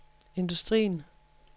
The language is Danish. industrien